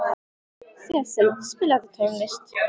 Sesil, spilaðu tónlist.